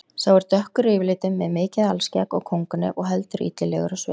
Sá er dökkur yfirlitum með mikið alskegg og kónganef og heldur illilegur á svip.